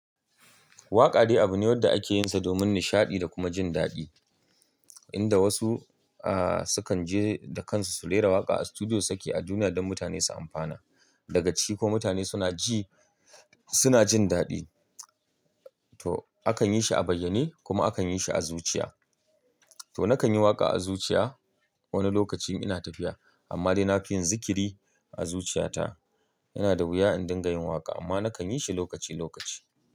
Waƙa dai abu ne wanda ake yinsa domin nishaɗi da kuma jin daɗi, inda wasu, ahh, sukan je da kansu su rera waƙa a studio su saki a duniya don mutane su amfana. Daga ciki ko mutane suna ji, suna jin daɗi. To akan yi shi a bayyane kuma akan yi shi a zuciya. To nakan yi waƙa a zuciya wani lokacin ina tafiya amma dai na fi yin zikiri a zuciyata. Yana da wuya in dinga yin waƙa amma na kan yi shi lokaci lokaci.